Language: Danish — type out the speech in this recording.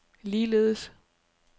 ligeledes